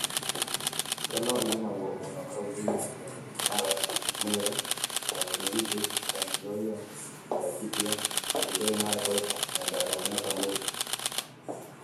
Ngano i͂ri͂ magwo mu͂no kaunti-ini͂ cia Narok, Meru, Uasin Gishu, Trans Nzoia, Laikipia, Elgeyo Marakwet, Nyandarua na Samburu.